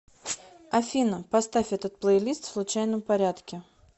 афина поставь этот плейлист в случайном порядке